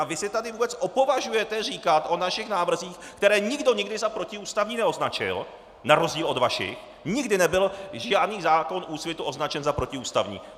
A vy si tady vůbec opovažujete říkat o našich návrzích , které nikdo nikdy za protiústavní neoznačil, na rozdíl od vašich, nikdy nebyl žádný zákon Úsvitu označen za protiústavní!